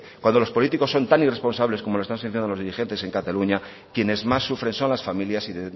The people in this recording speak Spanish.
cuando los políticos son tan irresponsables como lo están siendo los dirigentes en cataluña quienes más sufren son las familias y